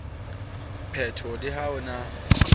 peto le ha ho na